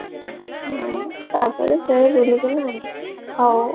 ହଁ ତାପରେ ସେ ହଉ